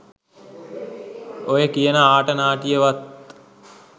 ඔය කියන ආට නාටිය වත්